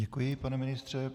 Děkuji, pane ministře.